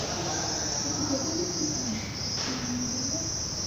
у тебя будет сусана ты меня убиваешь